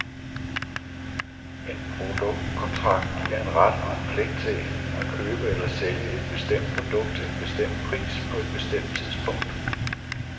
En produktkontrakt giver en ret og en pligt til enten at købe eller sælge et bestemt produkt til en bestemt pris på et bestemt tidspunkt.